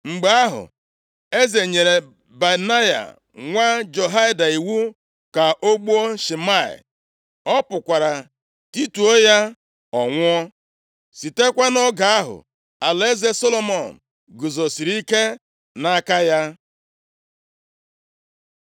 Mgbe ahụ, eze nyere Benaya, nwa Jehoiada iwu ka o gbuo Shimei. Ọ pụkwara tituo ya, ọ nwụọ. Sitekwa nʼoge ahụ, alaeze Solomọn guzosiri ike nʼaka ya.